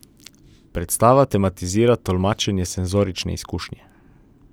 Predstava tematizira tolmačenje senzorične izkušnje.